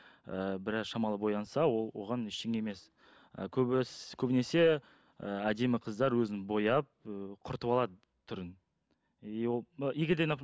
ы біраз шамалы боянса ол оған ештеңе емес і көбінесе ііі әдемі қыздар өзін бояп ы құртып алады түрін и ол егер де